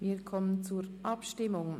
Wir kommen zur Abstimmung.